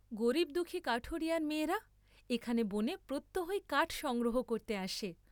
গরীব দুঃখী কাঠুরিয়ার মেয়েরা এখানে বনে প্রত্যহই কাঠ সংগ্রহ করতে আসে।